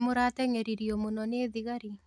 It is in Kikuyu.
nĩ mũratengeririo mũno nĩ thigari?